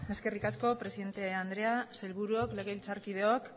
eskerrik asko presidente andrea sailburuok legebiltzarkideok